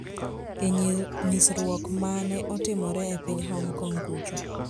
e nyisruok ma ne otimore e piny Hong Kong kucho